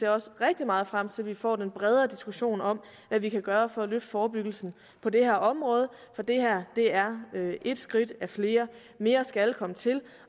jeg ser rigtig meget frem til at vi får en bredere diskussion om hvad vi kan gøre for at løfte forebyggelsen på det her område for det her er ét skridt af flere mere skal komme til